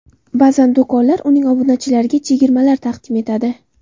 Ba’zan do‘konlar uning obunachilariga chegirmalar taqdim etadi.